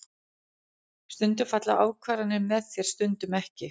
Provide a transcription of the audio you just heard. Stundum falla ákvarðanir með þér stundum ekki.